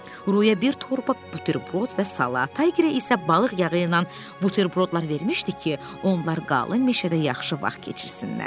Ruyə bir torba buterbrod və salat, Taygerə isə balıq yağı ilə buterbrodlar vermişdi ki, onlar qalın meşədə yaxşı vaxt keçirsinlər.